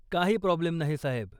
काही प्राॅब्लेम नाही, साहेब.